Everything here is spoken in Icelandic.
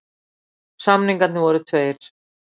Samningarnir voru tveir